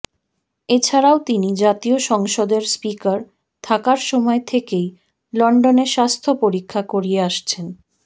এছাড়াও তিনি জাতীয় সংসদের স্পিকার থাকার সময় থেকেই লন্ডনে স্বাস্থ্য পরীক্ষা করিয়ে আসছেন